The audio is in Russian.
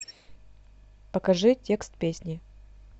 покажи текст песни